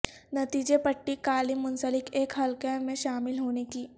نتیجے پٹی کالم منسلک ایک حلقہ میں شامل ہونے کی